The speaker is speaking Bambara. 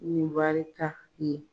Ni barika ye.